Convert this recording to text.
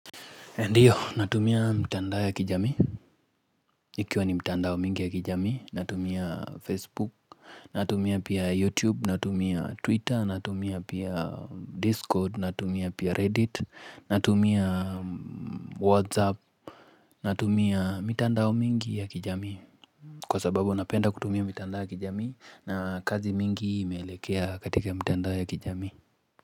Ndiyo, natumia mtandao ya kijamii. Ikiwa ni mitandao mingi ya kijami, natumia Facebook, natumia pia YouTube, natumia Twitter, natumia pia Discord, natumia pia Reddit, natumia WhatsApp, natumia mtandao mingi ya kijami. Kwa sababu, napenda kutumia mitandao ya kijami na kazi mingi imelekea katika mtandao ya kijami.